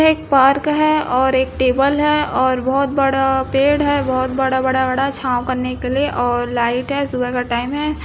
यह एक पार्क है और एक टेबल है और बहुत बड़ा पेड़ है बहुत बड़ा-बड़ा छाव करने के लिए सुबह का टाइम है।